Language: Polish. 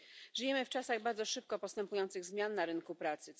Żyjemy w czasach bardzo szybko postępujących zmian na rynku pracy.